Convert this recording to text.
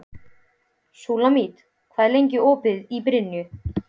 Súlamít, hvað er lengi opið í Brynju?